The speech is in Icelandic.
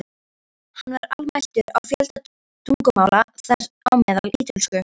Hann var almæltur á fjölda tungumála, þar á meðal ítölsku.